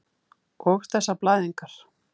Og þessar blæðingar.